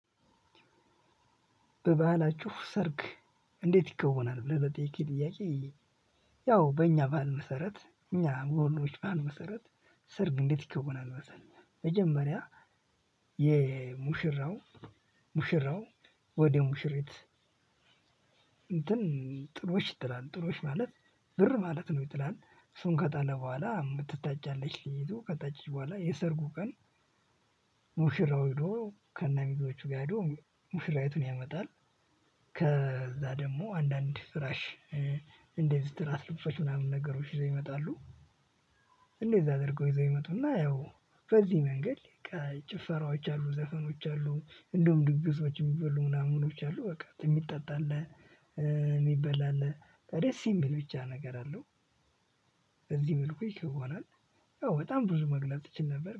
በባህላችሁ ሰርግ እንዴት ይከውናል ብለህ በጠየከኝ ጥያቄ? ያው በእኛ ባህል መሰረት በእኛ በውሎዎች ባህል መሰረት። ሰርግ እንዴት ይከውናል መሰህ መጀመሪያ የሙሽራው ሙሽራው ወደ ሙሽሪት። እንትን ጥሎሽ ይጥላል ጥሎሽ ማለት ብር ማለት ነው። ይጥላል እሱን ከጣለ በኋላ የምትታጫለት ልጅ ከታጭች በኋላ የሰርጉ ቀን። ሙሽራው ሄዶ ከነሚዜዎቹ ጋር ሄዶ ሙሽራይቱን ያመጣል። ከዛ ደግሞ አንዳንድ ፍራሽ እንደዚ ትራስ ለብሶች ምናምን ነገሮች ይዘው ይመጣሉ። እንደዛ አድርገው ይዘው ይመጡና ያው በዚህ መንገድ ጭፈራዎች አሉ ዘፈኖች አሉ እንደውም ድግሶች የሚበሉ ምናምኖች አሉ። በቃ የሚጠጣለህ አለ። ደስ የሚል ብቻ ነገር አለው። በዚህ መልኩ የከውናል ያው በጣም ብዙ መግለጽ እችል ነበር